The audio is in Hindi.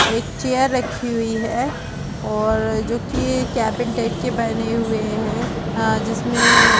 एक चेयर रखी हुई है और जो कि केबिन टाइप के बने हुए हैंअ जिसमें --